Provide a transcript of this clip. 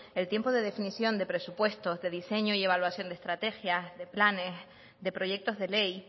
el tiempo de definición de presupuestos de diseño y evaluación de estrategias de planes de proyectos de ley